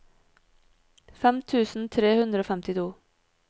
fem tusen tre hundre og femtito